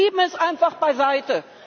Und Sie schieben es einfach beiseite.